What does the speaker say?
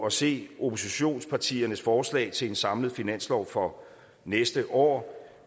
at se oppositionspartiernes forslag til en samlet finanslov for næste år